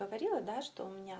говорила да что у меня